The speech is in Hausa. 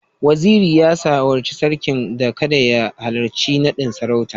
Waziri ya shawarci Sarkin da kada ya halarci nadin sarauta